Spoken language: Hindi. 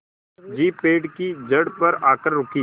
जीप पेड़ की जड़ पर आकर रुकी